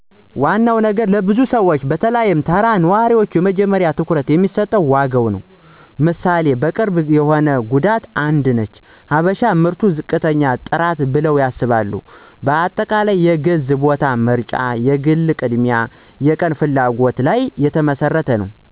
ዋና ነገር ለብዙ ሰዎች(በተለይ ተራ ነዋሪዎቹ )የመጀመሪያ ትኩረት የሚሰጠው ዋጋ ነዉ። ምሣሌ፦ ቅርብ የሆነ ጉዳት አነድንች "ሀበሽ ምርት ዝቅተኛ ጥራት ብለው ያስባሉ። በአጠቃላይ፣ የግዝ ቦታ ምርጫ የግል ቅድሚያ አና የቀን ፍላጎት ለይ የተመሰረተ ነዉ።